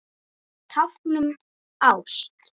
Tákn um ást